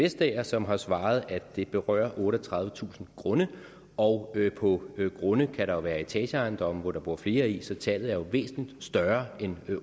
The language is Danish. vestager som har svaret at det berører otteogtredivetusind grunde og på grunde kan der jo være etageejendomme hvor der bor flere så tallet er væsentlig større end